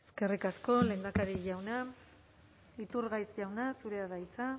eskerrik asko lehendakari jauna iturgaiz jauna zurea da hitza